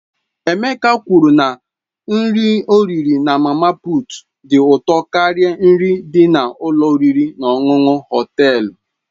Emeka kwuru na nri ọ riri na mama puut dị ụtọ karịa nri dị n'ụlọ oriri na ọṅụṅụ Họtelu.